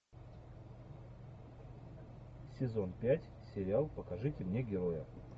сезон пять сериал покажите мне героя